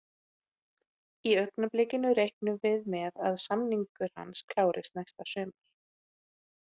Í augnablikinu reiknum við með að samningur hans klárist næsta sumar.